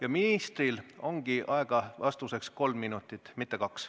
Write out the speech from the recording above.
Aga ministril ongi vastuseks aega kolm minutit, mitte kaks.